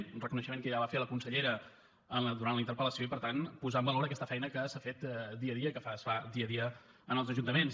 un reconeixement que ja va fer la consellera durant la interpel·lació i per tant posar en valor aquesta feina que s’ha fet dia a dia i que es fa dia a dia als ajuntaments